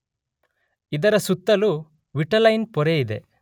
ಇದರ ಸುತ್ತಲೂ ವಿಟಲೈನ್ ಪೊರೆಯಿದೆ.